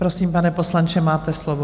Prosím, pane poslanče, máte slovo.